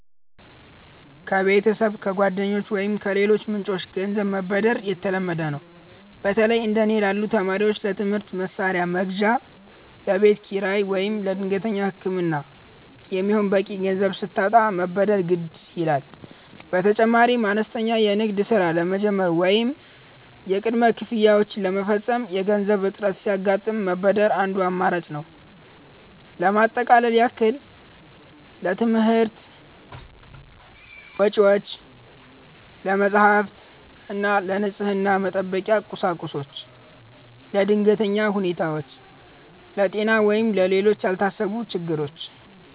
ከቤተሰብ፣ ከጓደኞች ወይም ከሌሎች ምንጮች ገንዘብ መበደር የተለመደ ነው። በተለይ እንደ እኔ ላሉ ተማሪዎች ለትምህርት መሣሪያ መግዣ፣ ለቤት ኪራይ ወይም ለድንገተኛ ሕክምና የሚሆን በቂ ገንዘብ ሲታጣ መበደር ግድ ይላል። በተጨማሪም አነስተኛ የንግድ ሥራ ለመጀመር ወይም የቅድመ ክፍያዎችን ለመፈጸም የገንዘብ እጥረት ሲያጋጥም መበደር አንዱ አማራጭ ነው። ለማጠቃለያ ያህል: ለትምህርት ወጪዎች፦ ለመጻሕፍት እና ለንፅህና መጠበቂያ ቁሶች። ለድንገተኛ ሁኔታዎች፦ ለጤና ወይም ለሌሎች ያልታሰቡ ችግሮች።